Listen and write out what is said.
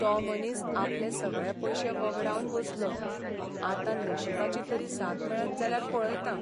तो मनीस आपले सगळे पयशे व्हगडावन बसलो, आतां नशिबाची तरी साथ मेळत जाल्यार पळयता.